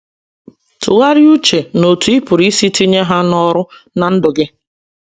Tụgharịa uche n’otú ị pụrụ isi tinye ha n’ọrụ ná ndụ gị.